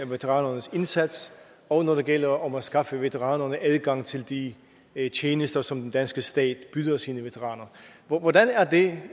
veteranernes indsats og når det gælder om at skaffe veteranerne adgang til de tjenester som den danske stat tilbyder sine veteraner hvordan er det